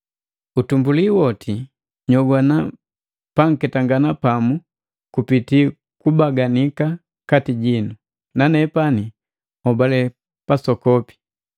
Utumbuli woti, nyogwana panketangana pamu kupiti kubaganika kati jinu. Nanepani hobale pasokopi,